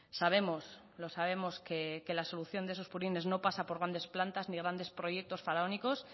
sabemos lo sabemos que la solución de esos purines no pasa por grandes plantas ni grandes proyectos faraónicos